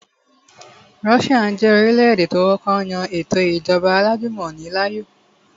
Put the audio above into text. Russia jẹ́ orílẹ̀-èdè tó kọ́kọ́ yan ètò ìjọba alájùmọ̀ni láàyò